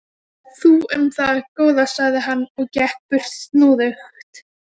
Þú um það, góða, sagði hann og gekk burt snúðugt.